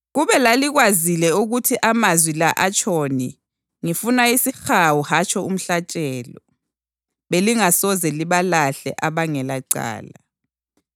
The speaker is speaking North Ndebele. Kube lalikwazile ukuthi amazwi la atshoni, ‘Ngifuna isihawu hatshi umhlatshelo’ + 12.7 UHosiya 6.6 belingasoze libalahle abangelacala.